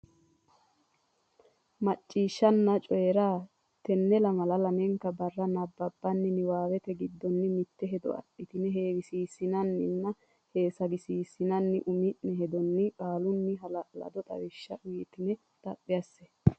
Macciishshanna Coyi ra Coyi ra Tenne lamala lamalki barra nabbabbini niwaawe giddonni mitte hedo adhitine heewisiissinanninna heesagisiissinanni umi ne hedonni qaalunni hala lado xawishsha uytinanni xaphi asse.